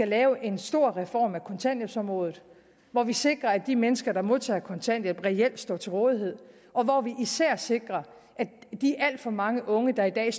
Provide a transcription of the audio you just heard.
lave en stor reform af kontanthjælpsområdet hvor vi sikrer at de mennesker der modtager kontanthjælp reelt står til rådighed og hvor vi især sikrer at de alt for mange unge der i dag